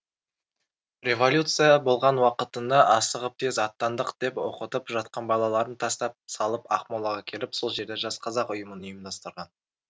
революция болған уақытында асығып тез аттандық деп оқытып жатқан балаларын тастап салып ақмолаға келіп сол жерде жас қазақ ұйымын ұйымдастырған